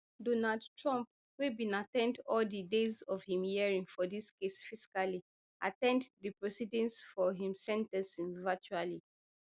donald trump wey bin at ten d all di days of im hearing for dis case physically at ten d di proceedings for im sen ten cing virtually